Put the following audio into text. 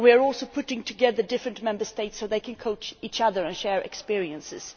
We are also putting together different Member States so that they can coach each other and share experiences.